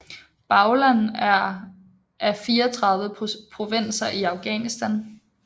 Baghlan er af 34 provinser i Afghanistan